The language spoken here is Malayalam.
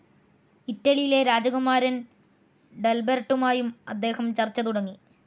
ഇറ്റലിയിലെ രാജകുമാരൻ ഡൽബെർട്ടുമായും അദ്ദേഹം ചർച്ച തുടങ്ങി.